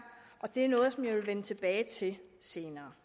og det er noget som jeg vil vende tilbage til senere